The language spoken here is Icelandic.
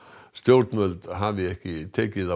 stjórnvöld hafi ekki tekið á